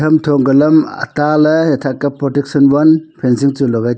pamtho angka lam ataley athah ka protection wall fencing chu logai taiya.